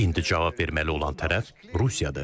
İndi cavab verməli olan tərəf Rusiyadır.